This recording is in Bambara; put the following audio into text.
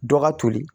Dɔ ka toli